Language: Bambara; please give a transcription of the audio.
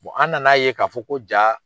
an na n'a ye k'a fɔ ko jaa